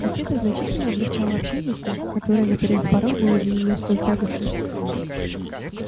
ведь это значительно облегчало общение с ним которое на первых порах было для неё столь тягостным